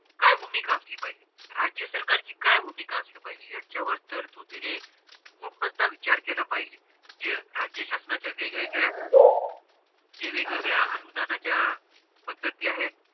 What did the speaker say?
काय भूमिका असली पाहिजे राज्य सरकार ची काय भूमिका असली पहिजे ह्याचा वर तरतुदीने पूर्णतः विचार केला पाहिजे जे राज्य शासनाचा वेग वेगळ्या जे वेग वेगळ्या अनुदानाच्या पद्धती आहेत